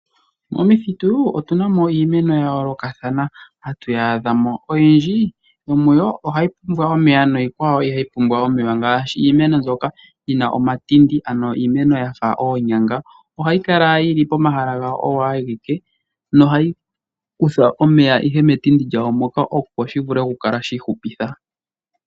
Momithitu otu na mo iimeno ya yoolokathana ha tu yi adhamo. Oyindji yomuyo ohayi pumbwa omeya niikwawo ihayi pumbwa omeya ngaashi iimeno mbyoka yi na omatindi ano iimeno ya fa oonyanga ohayi kala yi li pomahala gawo oyo awike, nohayi kutha omeya ihe metindi lyasho moka opo shi vule oku kakala shi ihupitha.